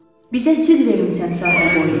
Bizə süd vermisən sahil boyunda.